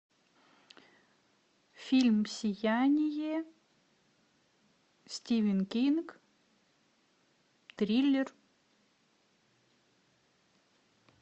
фильм сияние стивен кинг триллер